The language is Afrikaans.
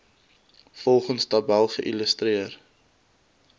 volgende tabel geïllustreer